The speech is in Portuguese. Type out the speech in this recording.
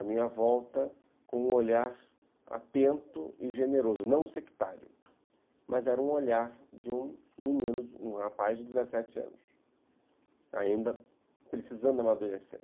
a minha volta com um olhar atento e generoso, não sectário, mas era um olhar de um menino, um rapaz de dezessete anos, ainda precisando amadurecer.